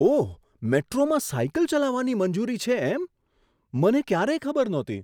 ઓહ! મેટ્રોમાં સાયકલ ચલાવવાની મંજૂરી છે એમ. મને ક્યારેય ખબર નહોતી.